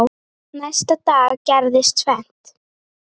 Næsta dag gerðist tvennt.